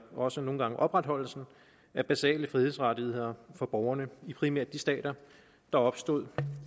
også nogle gange opretholdelsen af basale frihedsrettigheder for borgerne i primært de stater der opstod